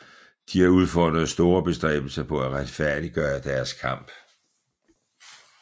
De har udfoldet store bestræbelser på at retfærdiggøre deres kamp